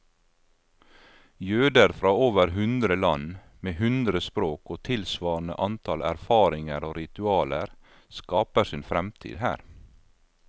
Jøder fra over hundre land, med hundre språk og tilsvarende antall erfaringer og ritualer, skaper sin fremtid her.